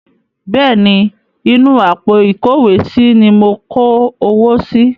Bẹ́ẹ̀ ni, inú àpò ìkówósí ní mo kó owó si.